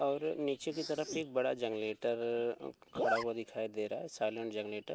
और नीचे की तरफ एक बड़ा जनलेटर अ खड़ा हुआ दिखाई दे रहा है साइलेंट जनलेटर .